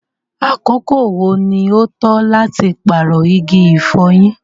àkókò wo ní o tọ́ láti paarọ igi ifọ̀yín?